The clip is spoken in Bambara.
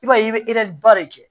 I b'a ye i bɛ ba de kɛ